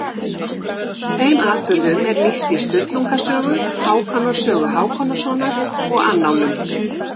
Þeim atburðum er lýst í Sturlunga sögu, Hákonar sögu Hákonarsonar og annálum.